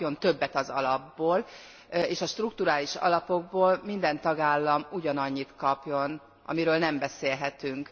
Az kapjon többet az alapból, és a strukturális alapokból minden tagállam ugyanannyit kapjon, amiről most nem beszélhetünk.